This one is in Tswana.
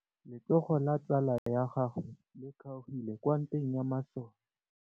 Letsôgô la tsala ya gagwe le kgaogile kwa ntweng ya masole.